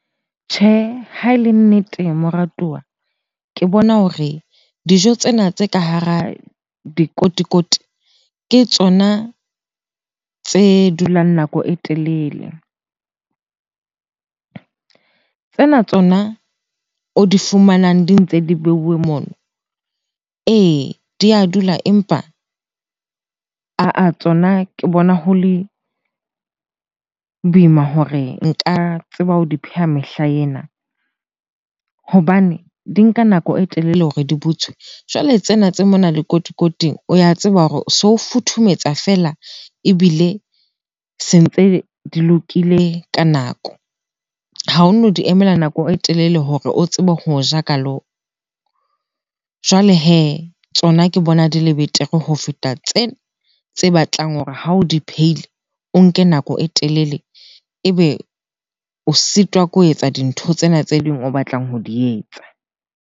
Tjhe, ha e le nnete moratuwa ke bona hore dijo tsena tse ka hara dikotikoti ke tsona tse dulang nako e telele. Tsena tsona o di fumanang di ntse di beuwe mono. Ee, di a dula empa ah-ah tsona ke bona ho le boima hore nka tseba ho di pheha mehla ena hobane di nka nako e telele hore di butswe. Jwale tsena tse mona lekotikoting, o ya tseba hore o so futhumetsa feela ebile se ntse di lokile ka nako. Ha ono di emela nako e telele hore o tsebe ho ja ka . Jwale hee, tsona ke bona di le betere ho feta tsena tse batlang hore ha o di phehile o nke nako e telele ebe o sitwa ke ho etsa dintho tsena tse ding o batlang ho di etsa.